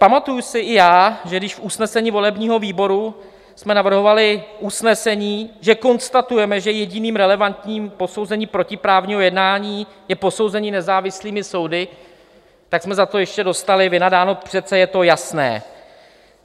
Pamatuju si i já, že když v usnesení volebního výboru jsme navrhovali usnesení, že konstatujeme, že jediným relevantním posouzením protiprávního jednání je posouzení nezávislými soudy, tak jsme za to ještě dostali vynadáno - přece je to jasné.